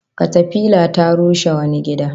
Katafila ta rushe wani gida